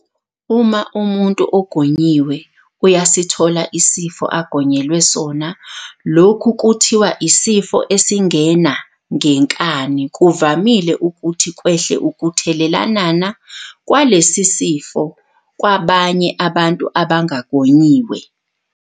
Uma umuntu ogonyiwe uyasithola isifo agonyelwe sonalokhu kuthiwa isifo esingena ngenkani, kuvamile ukuthi kwehle ukuthelelanana kwalesi sifo kwabanye abantu abangagonyiwe.